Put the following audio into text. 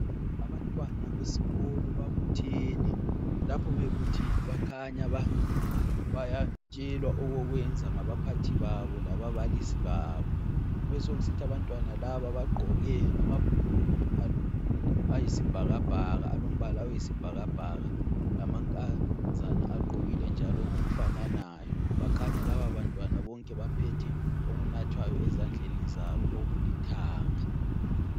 Abantwana besikolo babuthene lapho bebuthene bakhanya bayatshelwa okokwenza ngabaphathi babo lababalisi babo. Kube sokusithi abantwana laba bagqoke amabhulugwe ayisibhakabhaka olombala oyisibhakabhaka lamankazana agqokile njalo ngokufananayo bakhanya laba labantwana bonke baphethe okunathwayo ezandleni zabo okulithanga.